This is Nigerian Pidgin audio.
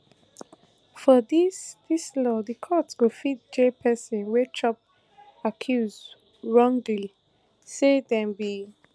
for dis dis law di court go fit jail pesin wey chop accuse wrongly say dem be